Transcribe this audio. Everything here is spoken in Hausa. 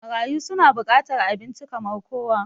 Marayu su na bukatar abinci kamar kowa